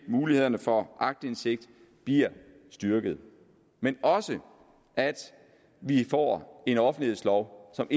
mulighederne for aktindsigt bliver styrket men også at vi får en offentlighedslov som